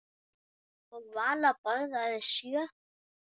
Og Vala borðaði sjö.